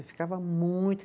Eu ficava muito.